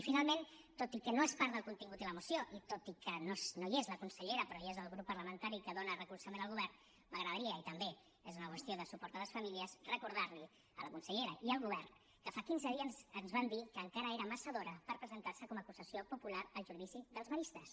i finalment tot i que no és part del contingut de la moció i tot i que no hi és la consellera però hi és el grup parlamentari que dóna recolzament al govern m’agradaria i també és una qüestió de suport a les famílies recordar li a la consellera i al govern que fa quinze dies ens van dir que encara era massa d’hora per presentar se com a acusació popular al judici dels maristes